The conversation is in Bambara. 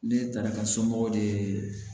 Ne taara ka somɔgɔw de ye